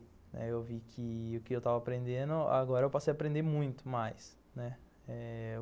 Aí eu vi que o que eu estava aprendendo, agora eu passei a aprender muito mais., né.